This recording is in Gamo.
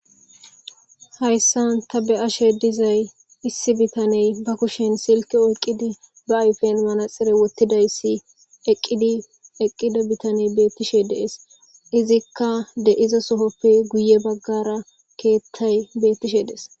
Haysan ta be'ashe dizay issi bitaney ba kushen silike oykiqid ba ayfen manaxire wotidayis eqidi eqida bitaney betishe de'es izika de'iza Sohope guye bagara kethay betishe des.